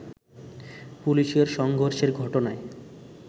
পুলিশের সংঘর্ষের ঘটনায়